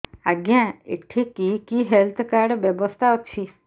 ଆଜ୍ଞା ଏଠି କି କି ହେଲ୍ଥ କାର୍ଡ ବ୍ୟବସ୍ଥା ଅଛି